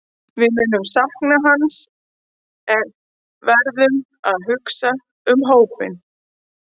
Við munum sakna hans en við verðum að hugsa um hópinn.